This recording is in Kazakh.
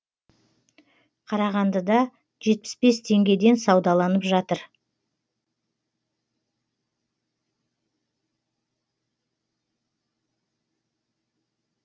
қарағандыда жетпіс бес теңгеден саудаланып жатыр